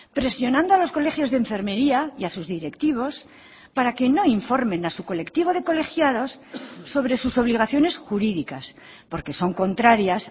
presionando a los colegios de enfermería y a sus directivos para que no informen a su colectivo de colegiados sobre sus obligaciones jurídicas porque son contrarias